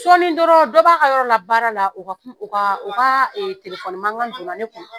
Sɔɔni dɔrɔn dɔ b'a ka yɔrɔ la baara la o ka o ka o ka ee telefɔni mankan don na ne kun.